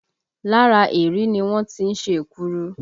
Lára erèé ni wọ́n tí ń ṣe èkuru